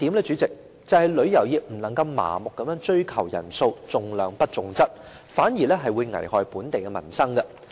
主席，第二是旅遊業不能夠麻木地追求人數，重量不重質，這反而會危害本地民生。